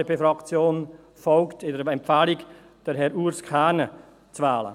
Die FDP-Fraktion folgt der Empfehlung, Urs Kernen zu wählen.